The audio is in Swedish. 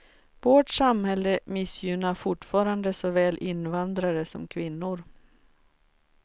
Vårt samhälle missgynnar fortfarande såväl invandrare som kvinnor.